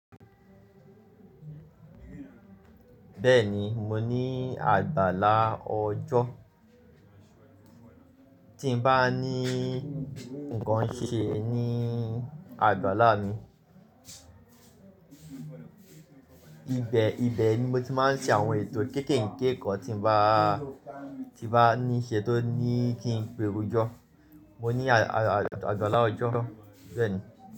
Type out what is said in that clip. Bẹ́ẹ̀ni, mo ní àgbàlá ọjọ́. Tí n bá ní ǹkan ṣe ní àgbàlá mi. Ibẹ̀, ibẹ̀ ni mo ti máa ń ṣe àwọn ètò kéèké ǹkanti tí bá, tí bá ní ṣe tó ní kí n pe orujọ́. Mo ní àgbàlá ọjọ́, bẹ́ẹ̀ni.